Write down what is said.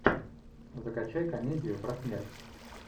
закачай комедию про смерть